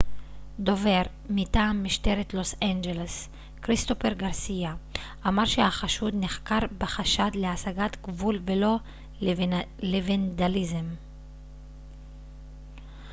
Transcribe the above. דובר מטעם משטרת לוס אנג'לס כריסטופר גרסיה אמר שהחשוד נחקר בחשד להסגת גבול ולא לוונדליזם